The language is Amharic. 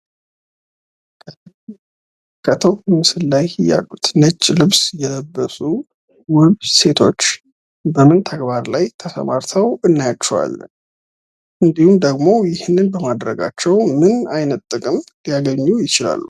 በምንመለከተው ምስል ላይ ያሉት ነጭ ልብስ የለበሱ ውብ ሴቶች በምን ተግባር ላይ ተሰማርተው እናያቸዋለን? እንድሁም ደግሞ ይህንን በማድረጋቸው ምን አይነት ጥቅም ሊያገኙ ይችላሉ?